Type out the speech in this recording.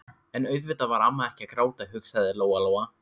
En auðvitað var amma ekkert að gráta, hugsaði Lóa-Lóa.